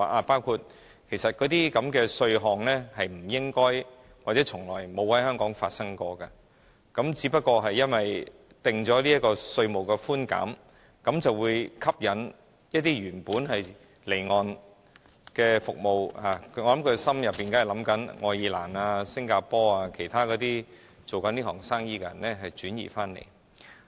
包括那些稅項不應或從沒有在香港發生，只不過因為政府定出了稅務寬減，便會吸引一些原本離岸的服務——我猜政府一定想愛爾蘭、新加坡等經營此行業的公司轉移來港。